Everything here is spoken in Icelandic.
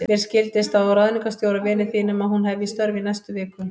Mér skildist á ráðningarstjóra, vini þínum, að hún hefji störf í næstu viku.